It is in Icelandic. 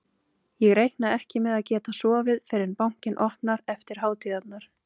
Ég reikna ekki með að geta sofið fyrr en bankinn opnar eftir hátíðarnar.